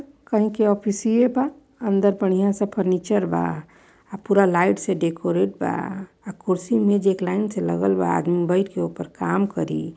कही के ओफ्फिसिये बा| अंदर बढ़िया सा फर्नीचर बा आ पूरा लाइट से डेकोरेट बा आ कुर्सी मेज एक लाइन से लगल बा आदमी बइठ के ओपर काम करी |